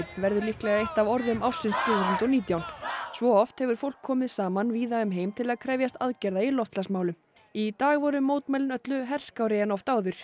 verður líklega eitt af orðum ársins tvö þúsund og nítján svo oft hefur fólk komið saman víða um heim til að krefjast aðgerða í loftslagsmálum í dag voru mótmælin öllu herskárri en oft áður